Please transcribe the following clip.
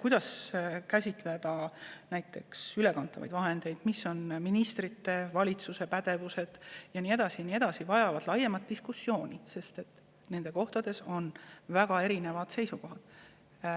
kuidas käsitleda näiteks ülekantavaid vahendeid, missugune on ministrite, valitsuse pädevus ja nii edasi, vajavad laiemat diskussiooni, sest nendes asjades on meil väga erinevad seisukohad.